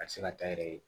A tɛ se ka taa n yɛrɛ ye